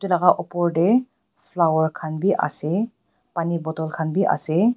laka opor tae flower khan biase pani bottle khan biase.